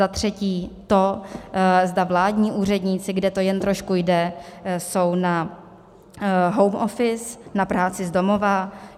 Za třetí to, zda vládní úředníci, kde to jen trošku jde, jsou na home office, na práci z domova.